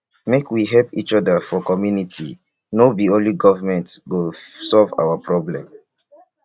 make we help each other for community no be only government go solve our problems.